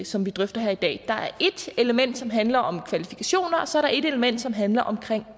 som vi drøfter her i dag der er et element som handler om kvalifikationer og så er der et element som handler om